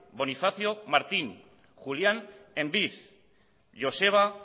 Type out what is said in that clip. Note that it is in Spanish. bonifacio martín julián embid joseba